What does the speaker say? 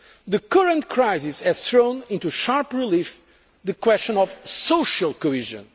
The current crisis has thrown into sharp relief the question of social